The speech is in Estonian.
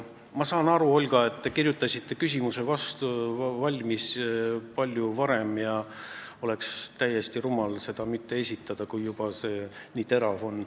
Ma saan aru, Olga, et te kirjutasite küsimuse palju varem valmis ja oleks täiesti rumal seda mitte esitada, kui see juba nii terav on.